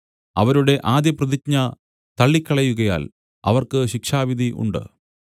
അവരുടെ ആദ്യ പ്രതിജ്ഞ തള്ളിക്കളയുകയാൽ അവർക്ക് ശിക്ഷാവിധി ഉണ്ട്